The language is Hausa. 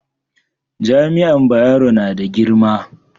jami'an Bayero na da girma